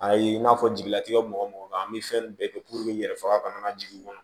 Ayi i n'a fɔ jigilatigɛ mɔgɔ o mɔgɔ kan an bɛ fɛn bɛɛ kɛ n yɛrɛ faga kana na jigin